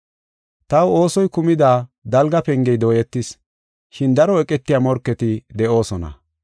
Taw oosoy kumida dalga pengey dooyetis, shin daro eqetiya morketi de7oosona.